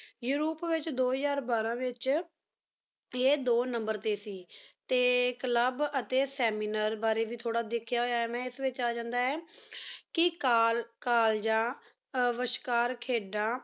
ਇਸ ਰੂਪ ਵੇਚ ਦੋ ਹਜ਼ਾਰ ਬਾਰਾਂ ਵੇਚ ਆਯ ਦੋ number ਟੀ ਸੀ club ਅਤੀ seminar ਟੀ ਦਰੀ ਥੋਰਾ ਦੇਖਿਆ ਹੂਯ ਆਯ ਇਸ ਬਰੀ ਏਜੰਡਾ ਆਯ ਕੀ ਕਲ ਕਾਲਜਾ ਵੇਸ਼ ਕਰ ਖਿਦਾਂ